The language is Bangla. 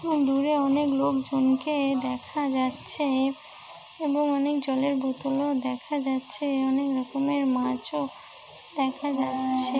দূরে অনেক লোকজন কেয়ে দেখা যাচ্ছে এবং অনেক জলের বোতল ও দেখা যাচ্ছে অনেক রকমের মাছ ও দেখা যাচ্ছে।